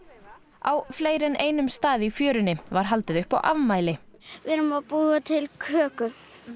á fleiri en einum stað í fjörunni var haldið upp á afmæli við erum að búa til köku